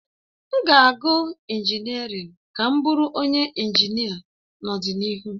M ga-agụ injiniarin ka m bụrụ onye injinia n'ọdịnihu